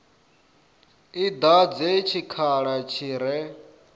i dadze tshikhala tshi re